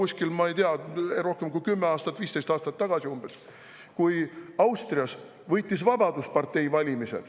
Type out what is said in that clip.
See kõik algas ju juba umbes, ma ei tea, rohkem kui 10 või 15 aastat tagasi, kui Austrias võitis valimised Vabaduspartei.